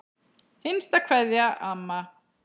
HINSTA KVEÐJA Amma.